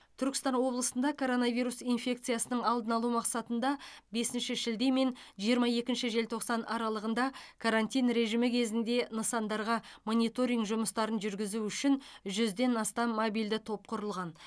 түркістан облысында коронавирус инфекциясының алдын алу мақсатында бесінші шілде мен жиырма екінші желтоқсан аралығында карантин режимі кезінде нысандарға мониторинг жұмыстарын жүргізу үшін жүзден астам мобильді топ құрылған